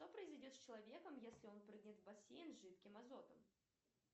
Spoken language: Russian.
что произойдет с человеком если он прыгнет в бассейн с жидким азотом